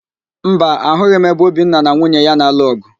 Mba, ahụghị m ebe Obinna na nwunye ya na-alụ ọ̀gụ̀